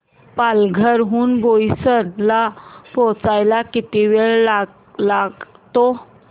पालघर हून बोईसर ला पोहचायला किती वेळ लागतो